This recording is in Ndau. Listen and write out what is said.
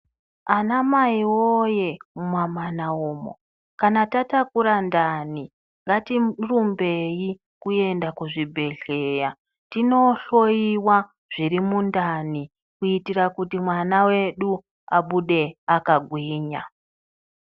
Ana mai woye muma mana umo kana tatakura ndani ngatirumbei kuenda kuzvibhedhlera tinohloiwa zviri mundani kuitira kuti mwana wedu abude akagwinya.